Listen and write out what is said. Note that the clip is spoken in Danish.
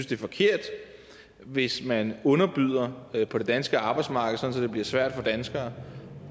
det er forkert hvis man underbyder på det danske arbejdsmarked sådan at det bliver svært for danskere